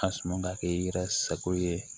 Ka sɔn ka kɛ i yɛrɛ sago ye